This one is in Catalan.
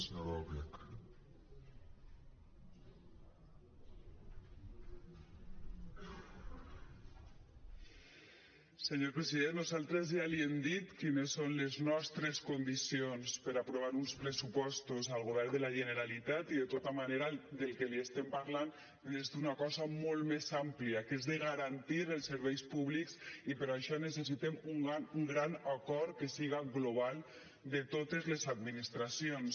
senyor president nosaltres ja li hem dit quines són les nostres condicions per aprovar uns pressupostos al govern de la generalitat i de tota manera del que li estem parlant és d’una cosa molt més àmplia que és garantir els serveis públics i per això necessitem un gran acord que siga global de totes les administracions